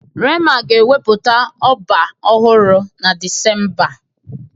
rema ga-ewepụta ọba ọhụrụ na Disemba a